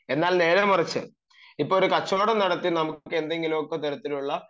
എന്നാൽ നേരെമറിച്ചു ഇപ്പൊ ഒരു കച്ചവടം നടത്തി നമുക്ക് എന്തെങ്കിലും തരത്തിലുള്ള